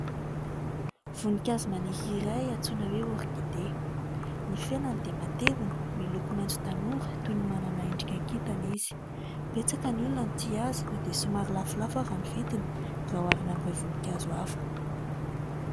Voninkazo maniry iray antsoina hoe "orchidée". Ny felany dia matevina miloko maitso tanora toy ny manana endrika kintana izy. Betsaka ny olona no tia azy na dia somary lafolafo ary ny vidiny raha oharina amin'ireo voninkazo hafa.